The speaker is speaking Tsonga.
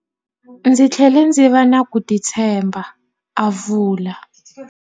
Ndzi tlhele ndzi va na ku titshemba, a vula.